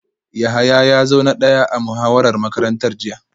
Yahaya ya zo na daya a muhawarar makarantar jiya